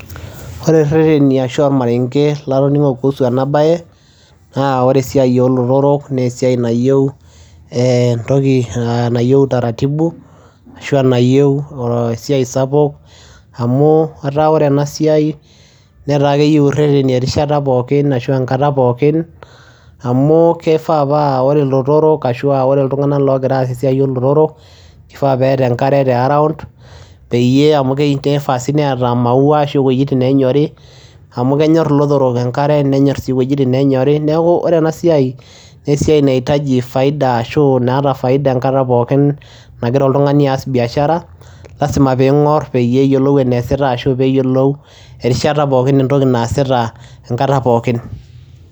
Ore ireteni ashu ormareng'e latoning'o kuhusu ena baye naa ore esiai oo lotorok nee esiai nayeu ee entoki nayeu utaratibu ashu aa enayeu oo esiai sapuk amu etaa ore ena siai netaa keyeu ireteni erishata pookin ashu enkata pookin amu kifaa paa ore ilototorok ashu aa ore iltung'anak loogira aas esiai oo lotorok kifaa peeta enkare te around peyie amu kifaa sii neeta maua ashu iwueitin neenyori amu kenyor ilotorok enkare nenyor sii iweujitin neenyori. Neeku ore ena siai nee esiai naitaji faida ashu naata faida enkata pookin naira oltung'ani aas biashara, lazima piing'or peyie eyioluo eneesita ashu peeyiolou erishata pookin entoki naasita enkata pookin.